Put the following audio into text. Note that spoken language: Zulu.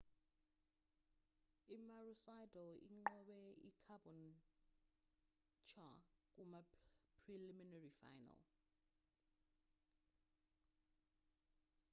i-maroochydore inqobe i-caboonlture kuma-preliminary final